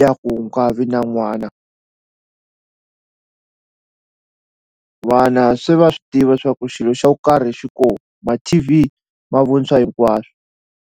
ya ku u nga vi na n'wana vana se va swi tiva swa ku xilo xa ku karhi xiko ma-T_V ma vonisa hinkwaswo.